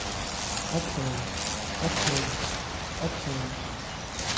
optaget optaget optaget